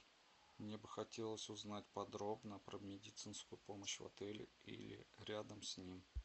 мне бы хотелось узнать подробно про медицинскую помощь в отеле или рядом с ним